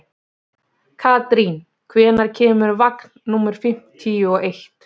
Karín, hvenær kemur vagn númer fimmtíu og eitt?